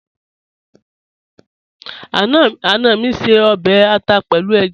Ana mi ń ṣè ọbẹ̀ àtà pẹ̀lú èjá.